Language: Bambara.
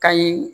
Kayi